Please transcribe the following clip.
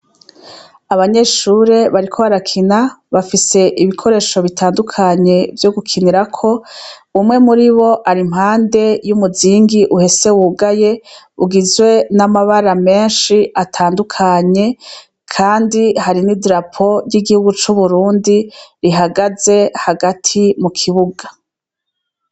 Abanyeshure bariko arakina bafise ibikoresho bitandukanye vyo gukinirako umwe muri bo ar impande y'umuzingi uhese wugaye ugizwe n'amabara menshi atandukanye, kandi hari n'i dirapo ry'igihugu c'uburundi rihagaze he gati mu kibuga.